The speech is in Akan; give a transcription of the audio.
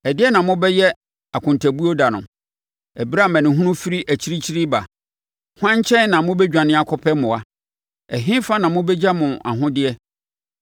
Ɛdeɛn na mobɛyɛ akontabuo da no, ɛberɛ a amanehunu firi akyirikyiri reba? Hwan nkyɛn na mobɛdwane akɔpɛ mmoa? Ɛhefa na mobɛgya mo ahodeɛ?